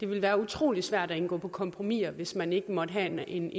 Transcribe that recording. ville være utrolig svært at indgå kompromiser hvis man ikke måtte have en